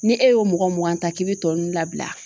Ni e y'o mɔgɔ mugan ta k'i be tɔ nunnu labila